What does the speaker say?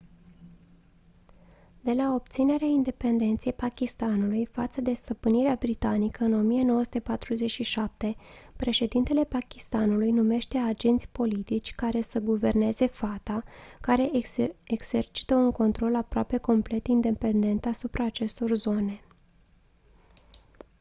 de la obținerea independenței pakistanului față de stăpânirea britanică în 1947 președintele pakistanului numește agenți politici care să guverneze fata care exercită un control aproape complet independent asupra acestor zone